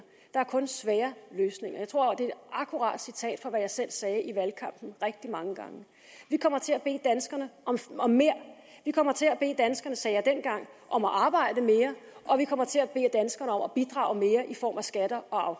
der er kun svære løsninger jeg tror det er et akkurat citat af det jeg selv sagde i valgkampen rigtig mange gange vi kommer til at bede danskerne om mere vi kommer til at bede danskerne det sagde jeg dengang om at arbejde mere og vi kommer til at bede danskerne om at bidrage mere i form af skatter og